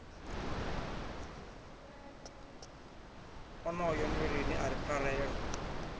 onoyo nndweleni a ri pfarelo